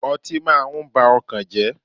Ọtí múmu máa ń ba ọkàn jẹ́.